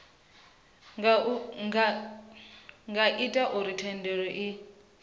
nga ita uri thendelo i